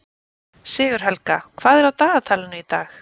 Sigurhelga, hvað er á dagatalinu í dag?